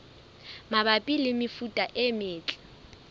mabapi le mefuta e metle